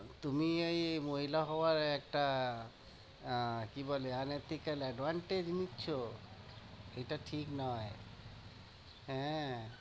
তুমি এই মহিলা হওয়ায় একটা আহ কি বলে unethical advantage নিচ্ছো? এটা ঠিক নয়, হ্যাঁ